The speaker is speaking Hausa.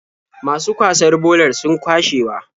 Masu kwasar bolar sun kwashewa.